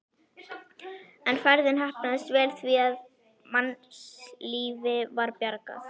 En ferðin heppnaðist vel því að mannslífi var bjargað.